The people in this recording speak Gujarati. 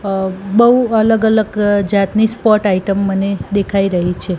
અ બોઉ અલગ અલગ જાતની સ્પોર્ટ આઇટમ મને દેખાય રહી છે.